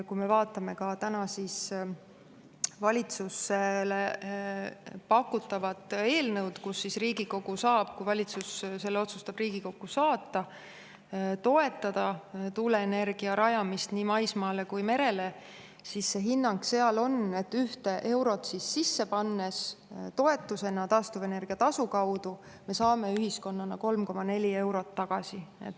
Kui me vaatame ka täna valitsusele pakutavat eelnõu, kus Riigikogu saab, kui valitsus selle otsustab Riigikokku saata, toetada tuuleenergia rajamist nii maismaale kui ka merele, siis see hinnang seal on, et ühte eurot sisse pannes toetusena taastuvenergia tasu kaudu me saame ühiskonnana 3,4 eurot tagasi.